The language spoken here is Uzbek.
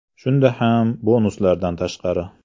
Shunda ham bonuslardan tashqari.